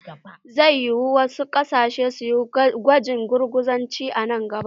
Zai yiwu wasu ƙasashe su yi gwajin gurguzanci a nan gaba.